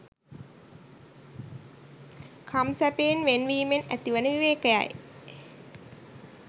කම් සැපයෙන් වෙන් වීමෙන් ඇතිවන විවේකයයි